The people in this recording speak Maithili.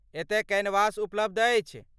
एतय कैनवास उपलब्ध अछि।